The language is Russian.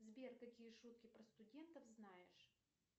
сбер какие шутки про студентов знаешь